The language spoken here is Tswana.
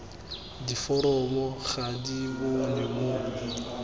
diforomo ga di bonwe mo